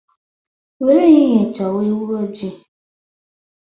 Were ehihie chọwa ewu ojii.